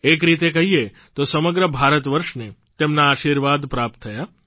એક રીતે કહીએ તો સમગ્ર ભારતવર્ષને તેમના આશીર્વાદ પ્રાપ્ત થયા